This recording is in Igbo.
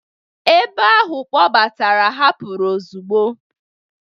ebe ahụ kpọbatara hapụrụ ozugbo